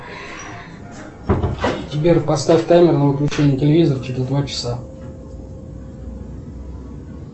сбер поставь таймер на выключение телевизора через два часа